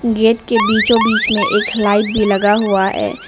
Gate के बीचों बीच में एक लाइट भी लगा हुआ है।